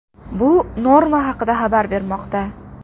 Bu Norma haqda xabar bermoqda .